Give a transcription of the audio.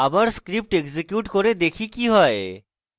আবার script execute করে দেখি কি হয়